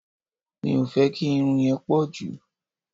Mi ò fẹ́ kí irun yẹn pọ̀ jù.